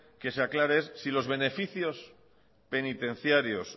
que se aclare es si los beneficios penitenciarios